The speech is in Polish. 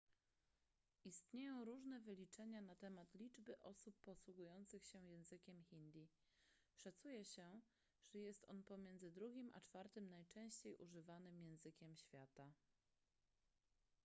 istnieją różne wyliczenia na temat liczby osób posługujących się językiem hindi szacuje się że jest on pomiędzy drugim a czwartym najczęściej używanym językiem świata